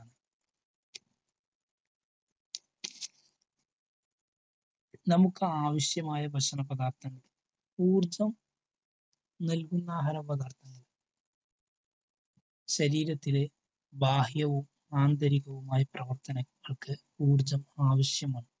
നമുക്കാവശ്യമായ ഭക്ഷണ പദാർത്ഥങ്ങൾ ഊർജം നിൽക്കുന്ന ആഹാര പദാർത്ഥങ്ങൾ ശരീരത്തിലെ ബാഹ്യവും ആന്തരികവുമായ പ്രവർത്തങ്ങൾക്ക് ഊർജം ആവശ്യമാണ്.